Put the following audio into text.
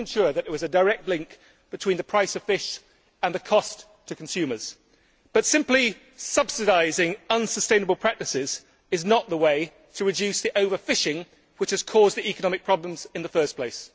We should ensure that there is a direct link between the price of fish and the cost to consumers, but simply subsidising unsustainable practices is not the way to reduce the over fishing which has caused the economic problems in the first place.